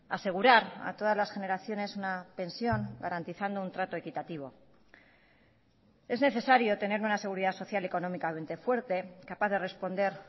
asegurar a todas las generaciones una pensión garantizando un trato equitativo es necesario tener una seguridad social económicamente fuerte capaz de responder